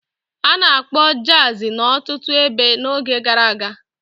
A na-akpọ Jazi n'ọtụtụ ebe n'oge gara aga.